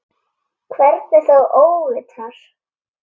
Hvernig þá óvitar?